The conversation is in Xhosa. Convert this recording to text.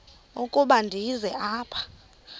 ukuba ndize apha